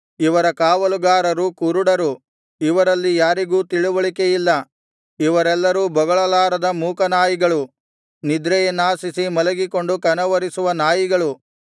ಇವರ ಕಾವಲುಗಾರರು ಕುರುಡರು ಇವರಲ್ಲಿ ಯಾರಿಗೂ ತಿಳಿವಳಿಕೆಯಿಲ್ಲ ಇವರೆಲ್ಲರೂ ಬೊಗಳಲಾರದ ಮೂಕ ನಾಯಿಗಳು ನಿದ್ರೆಯನ್ನಾಶಿಸಿ ಮಲಗಿಕೊಂಡು ಕನವರಿಸುವ ನಾಯಿಗಳು